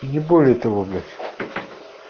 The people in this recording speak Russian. и не более того блять